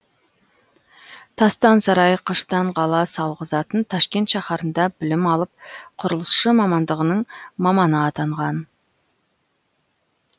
тастан сарай қыштан қала салғызатын ташкент шаһарында білім алып құрылысшы мамандығының маманы атанған